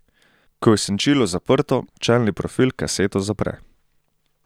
Ko je senčilo zaprto, čelni profil kaseto zapre.